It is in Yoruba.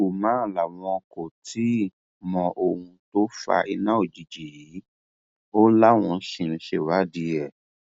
umar làwọn kò tí ì mọ ohun tó fa iná òjijì yìí o láwọn ṣì ń ṣèwádìí ẹ ni